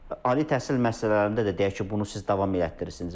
Ali təhsil müəssisələrində də deyək ki, bunu siz davam elətdirirsiniz.